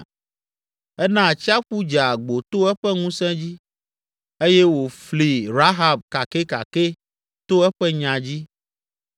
Ena atsiaƒu dze agbo to eƒe ŋusẽ dzi eye wòfli Rahab kakɛkakɛ to eƒe nya dzi.